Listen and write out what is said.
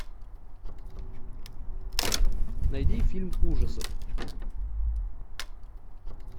найди фильм ужасов